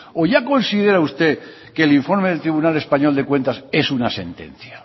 o ya considera usted que el informe del tribunal español de cuentas es una sentencia